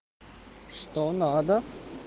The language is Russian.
что надо